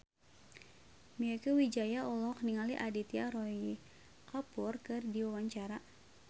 Mieke Wijaya olohok ningali Aditya Roy Kapoor keur diwawancara